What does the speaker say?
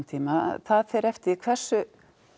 tíma það fer eftir því hversu